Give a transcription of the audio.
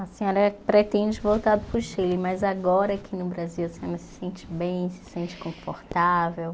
A senhora pretende voltar para o Chile, mas agora aqui no Brasil, a senhora se sente bem, se sente confortável?